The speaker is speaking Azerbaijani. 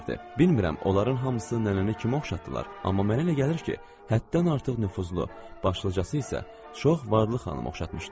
Bilmirəm onların hamısı nənəni kimə oxşatdılar, amma mənə elə gəlir ki, həddən artıq nüfuzlu, başlıcası isə çox varlı xanıma oxşatmışdılar.